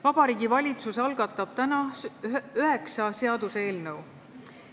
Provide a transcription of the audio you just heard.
Vabariigi Valitsus algatab täna üheksa seaduseelnõu.